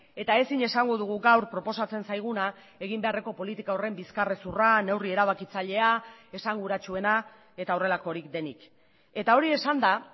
eta ezin esango dugu gaur proposatzen zaiguna egin beharreko politika horren bizkarrezurra neurri erabakitzailea esanguratsuena eta horrelakorik denik eta hori esanda